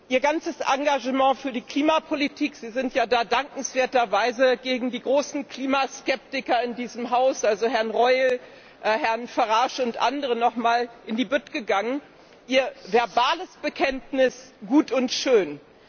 Ihr ganzes Engagement für die Klimapolitik Sie sind ja da dankenswerter Weise gegen die großen Klimaskeptiker in diesem Haus, also Herrn Reul, Herrn Farage und andere noch einmal in die Bütt gegangen Ihr verbales Bekenntnis ist gut und schön.